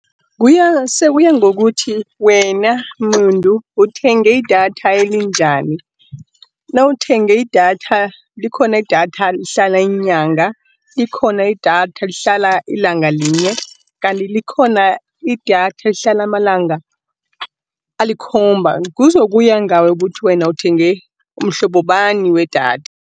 Sekuya ngokuthi wena muntu uthenge idatha elinjani, nawuthenge idatha, likhona idatha elihlala inyanga, likhona idatha elihlala ilanga linye. Kanti likhona idatha elihlala amalanga alikhomba, kuzokuya ngawe ukuthi wena uthenge mhlobobani wedatha.